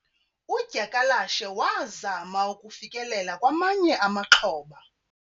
udyakalashe wazama ukufikelela kwamanye amaxhoba